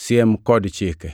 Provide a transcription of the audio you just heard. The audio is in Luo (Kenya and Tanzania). Siem kod chike